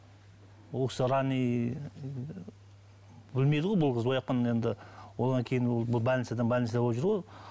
ол кісі білмейді ғой бұл қыз енді одан кейін ол больницадан больница болып жүрді ғой ол